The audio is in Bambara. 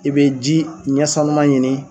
I bɛ ji ɲɛsanuma ɲini.